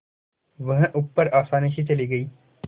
वह ऊपर आसानी से चली गई